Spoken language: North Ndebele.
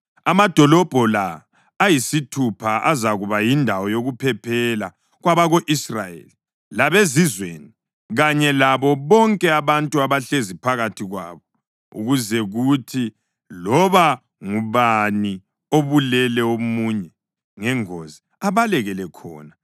Amadolobho la ayisithupha azakuba yindawo yokuphephela kwabako-Israyeli, labezizweni kanye labo bonke abantu abahlezi phakathi kwabo, ukuze kuthi loba ngubani obulele omunye ngengozi abalekele khona.